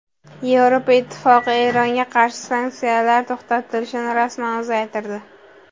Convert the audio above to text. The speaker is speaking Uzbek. Yevropa Ittifoqi Eronga qarshi sanksiyalar to‘xtatilishini rasman uzaytirdi.